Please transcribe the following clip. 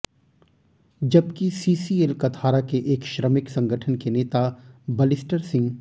जबकि सीसीएल कथारा के एक श्रमिक संगठन के नेता बालिस्टर सिंह